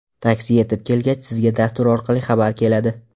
Taksi yetib kelgach, sizga dastur orqali xabar keladi.